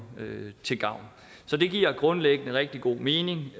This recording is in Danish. til gavn så det giver grundlæggende rigtig god mening